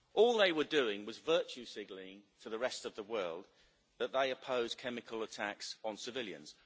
All they were doing was virtue signalling to the rest of the world that they oppose chemical attacks on civilians.